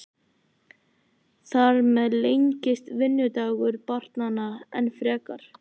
Þar með lengist vinnudagur barnanna enn frekar.